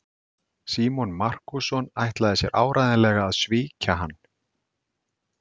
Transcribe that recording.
Símon Markússon ætlaði sér áreiðanlega að svíkja hann.